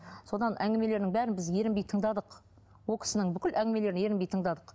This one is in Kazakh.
содан әңгімелерінің бәрін біз ерінбей тыңдадық ол кісінің бүкіл әңгімелерін ерінбей тыңдадық